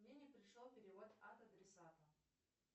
мне не пришел перевод от адресата